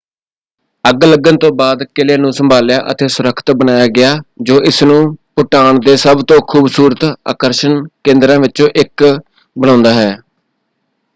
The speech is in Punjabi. ਅੱਗ ਲੱਗਣ ਤੋਂ ਬਾਅਦ ਕਿਲ੍ਹੇ ਨੂੰ ਸੰਭਾਲਿਆ ਅਤੇ ਸੁਰੱਖਿਅਤ ਬਣਾਇਆ ਗਿਆ ਜੋ ਇਸਨੂੰ ਭੂਟਾਨ ਦੇ ਸਭ ਤੋਂ ਖੂਬਸੂਰਤ ਆਕਰਸ਼ਣ ਕੇਂਦਰਾਂ ਵਿੱਚੋਂ ਇੱਕ ਬਣਾਉਂਦਾ ਹੈ।